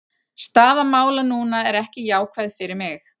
Staða mála núna er ekki jákvæð fyrir mig.